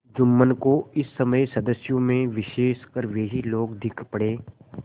जुम्मन को इस समय सदस्यों में विशेषकर वे ही लोग दीख पड़े